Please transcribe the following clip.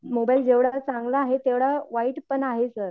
Mobile जेवढा चांगला आहे तेवढा वाईट पण आहे सर.